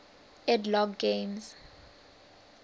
ed logg games